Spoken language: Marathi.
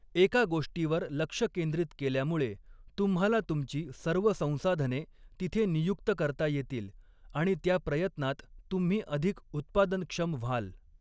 एका गोष्टीवर लक्ष केंद्रित केल्यामुळे तुम्हाला तुमची सर्व संसाधने तिथे नियुक्त करता येतील आणि त्या प्रयत्नात तुम्ही अधिक उत्पादनक्षम व्हाल.